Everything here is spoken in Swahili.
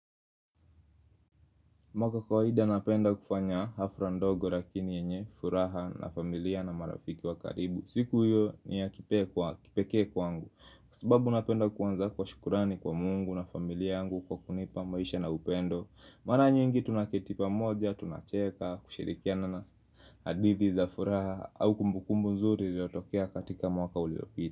Mimi kwa kawaida napenda kufanya hafura ndogo lakini yenye furaha na familia na marafiki wakaribu siku hiyo ni ya kipe kwa kipekee kwangu Kwa sababu napenda kuanza kwa shukrani kwa mungu na familia yangu kwa kunipa maisha na upendo Mara nyingi tunaketi pa moja, tunacheka, kushirikiana na hadithi za furaha au kumbukumbu nzuri lilotokea katika mwaka uliopita.